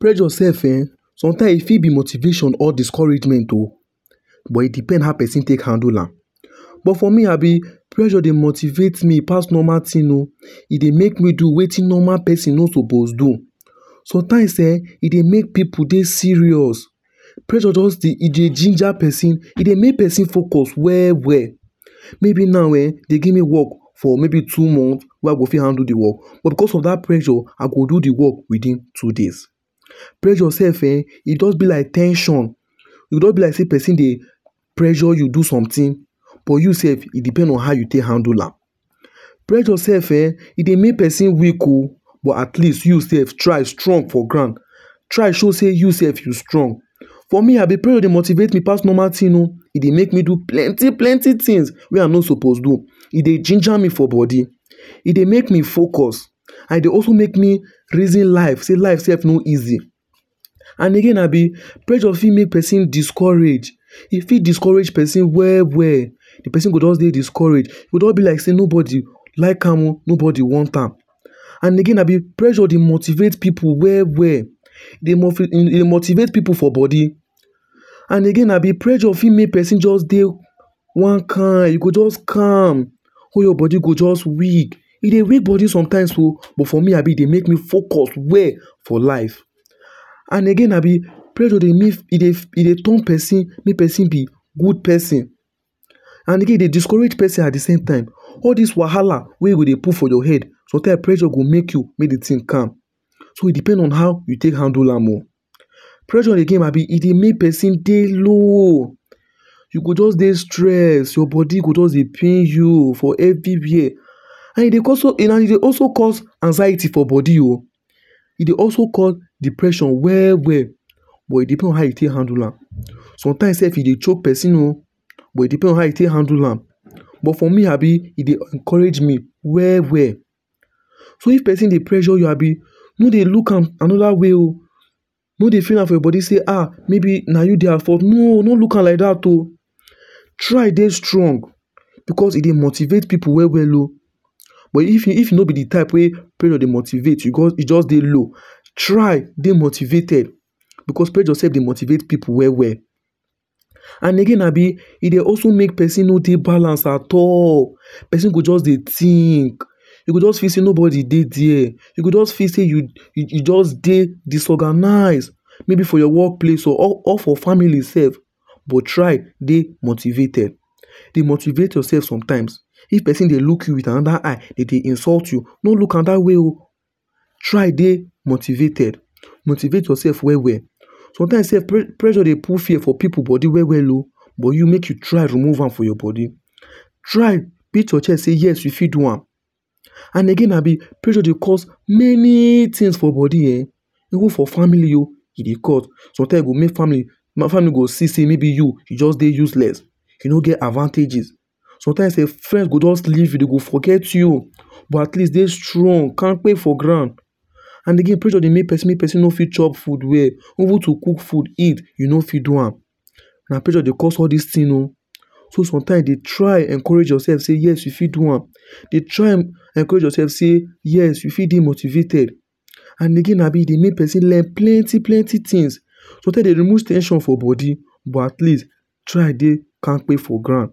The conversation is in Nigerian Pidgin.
Pressure self um sometimes e fit be motivation or discouragement oh. But it depends how person take handle am but for me abi pressure dey motivate me pass normal thing oh. E dey make me do wetin normal person no suppose do. Sometimes um e dey make pipu dey serious. pressure just dey, e dey ginger person. E dey make person focus well well. Maybe now um dey give me work for maybe two months or wey I go fit handle de work but because of that pressure, I go do de work within two days. Pressure self um e just be like ten sion. E just be like person dey pressure you do something but you self e depend on how you take handle am. Pressure self um e dey make person weak oh. But at least you slf try strong for ground. Try show sey you sef you strong. For me pressure dey motivate me pass normal thing oh. E dey make me do plenty plenty things wey I no suppose do. E dey ginger me for body. E dey make me focus, and e dey also make me reason life sey life self no easy. And again abi, pressure fit make person discourage e fit discourage person well well. Person go just dey discourage. E go just be like sey no body like am oh or no body want am. And again abi, pressure dey motivate pipu well well. E dey motivate pipu for body. And again Abi pressure fit just make person dey one kind, you go just calm all your body go just dey weak. E dey weak body sometimes oh. But for me, e dey make me focus well for life. And again abi, pressure dey make e dey turn person, make person be good person and again e dey discourage person at de same time. All this wahala e go dey put for your head sometime pressure go make you make de thing calm. So e depend on how you take handle am oh. Pressure again abi e dey make person dey low, you go just dey stressed, your body go just dey pain you everywhere. And e dey also cause anxiety for body oh. e dey also cause depression well well but e depend on how e take handle am. Sometimes self e dey choke person oh but e depend on how you take handle am but for me abi,m e dey encourage me well well. So if person dey pressure you abi, no dey look am another way oh. No dey feel am for your body dey um maybe na you dey at fault no...no look am like that oh. Try dey strong because e dey motivate pipu well well oh. But If you no be dey type wey pressure dey motivate, e just dey low try dey motivated because pressure dey motivate pipu well well. And again abi, e dey also make person no dey balance at all. Person go just dey think. E go just feel sey person no dey there. E go just feel sey you just dey disorganised maybe for your work place or for family self. But try dey motivated. dey motivate yourself sometimes. If person dey look you with another eye dey dey insult you, no look am that way oh. try dey motivated. Motivate yourself well well. Sometimes self pressure dey put fear for pipu body well well oh, but you make you try remove am for your body. Try beat your chest say yes you fit do am. And again abi, pressure dey cause many things for body um Even for family oh, e dey cause sometimes e dey go make family no go see sey you just dey useless you no get advantages. Sometimes self friend go just leave you, dey go forget you but at least dey strong kampe for ground. And again pressure dey make person make person no fit chop well food well even to cook food eat you no fit do am. Na pressure dey cause all these things oh. So sometimes, dey try encourage yourself sey yes you fit do am. Dey try encourage yourself sey yes you fit dey motivated. And again abi, e dey make person learn plenty plenty things so e dey remove ten sion for body but at least try dey kampe for ground.